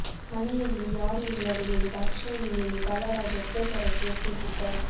ಮನೆಯಲ್ಲಿ ಯಾರೂ ಇಲ್ಲದ ವೇಳೆ ದಾಕ್ಷಾಯಿಣಿ ಮೇಲೆ ಬಾಲರಾಜು ಅತ್ಯಾಚಾರಕ್ಕೆ ಯತ್ನಿಸಿದ್ದ